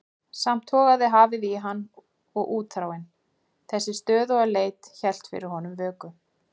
Samt togaði hafið í hann og útþráin, þessi stöðuga leit, hélt fyrir honum vöku.